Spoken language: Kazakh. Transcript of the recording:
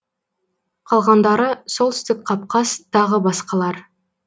қалғандары солтүстік қапқаз тағы басқалар